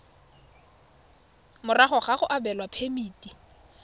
morago ga go abelwa phemiti